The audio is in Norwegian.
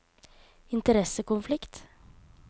interessekonflikt